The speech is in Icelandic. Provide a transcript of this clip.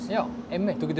þú getur